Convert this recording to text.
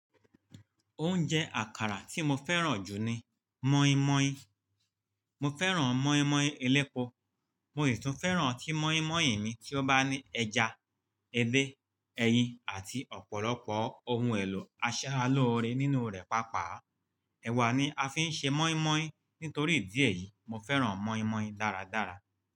Oúnjẹ àkàrà tí mo fẹ́ràn jù ni mọ́ímọ́í. Mo fẹ́ràn mọ́ímọ́í ẹlẹ́pọ̀, mo sì tún fẹ́ràn tí mọ́ímọ́í mi tí ó bá ní ẹja, ẹdẹ́, ẹyin àti ọ̀pọ̀lọpọ̀ ohun èlò aṣaralóore nínú rẹ̀ pàápàá. Ẹ̀wà ni a fi ń ṣe mọ́ímọ́í. Nítorí idi ẹ̀ yìí, mo fẹ́ràn mọ́ímọ́í dáradára.